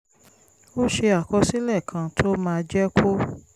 ó ṣe àkọsílẹ̀ kan tó máa jẹ́ kó